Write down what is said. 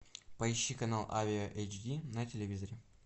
поищи канал авиа эйч ди на телевизоре